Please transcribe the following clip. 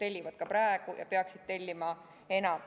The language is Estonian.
Nad tellivad ka praegu, aga peaksid tellima enam.